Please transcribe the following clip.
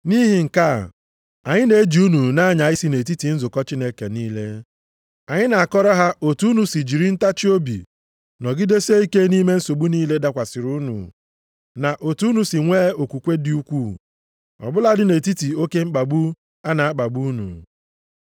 Nʼihi nke a, anyị na-eji unu na-anya isi nʼetiti nzukọ Chineke niile. Anyị na-akọrọ ha otu unu si jiri ntachiobi nọgidesie ike nʼime nsogbu niile dakwasịrị unu, na otu unu si nwee okwukwe dị ukwuu, ọ bụladị nʼetiti oke mkpagbu a na-akpagbu unu.